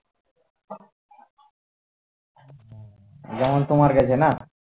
যেমন তোমার কাছে না